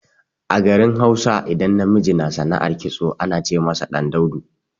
A garin Hausa, idan namiji na sana'ar kitso ana ce masa ɗan daudu.